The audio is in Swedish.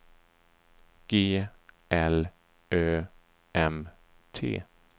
G L Ö M T